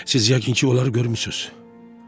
Siz yəqin ki, onları görmüsünüz.